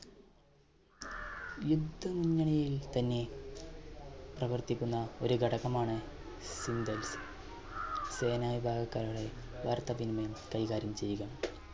യുദ്ധമുന്നണിയിൽ തന്നെ പ്രവർത്തിക്കുന്ന ഒരു ഘടകമാണ് സേനവിഭാഗക്കാരുടെ വാർത്താവിനിമയം കൈകാര്യം ചെയ്യുക.